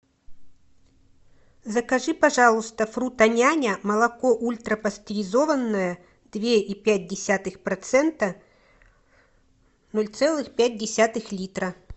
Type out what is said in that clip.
закажи пожалуйста фруто няня молоко ультра пастеризованное две и пять десятых процента ноль целых пять десятых литра